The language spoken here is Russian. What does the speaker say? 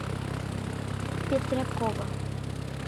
петрякова